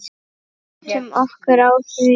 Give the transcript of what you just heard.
Áttum okkur á því.